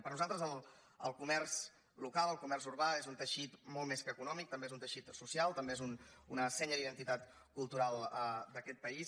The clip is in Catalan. per nosaltres el comerç local el comerç urbà és un teixit molt més que econòmic també és un teixit social també és una senya d’identitat cultural d’aquest país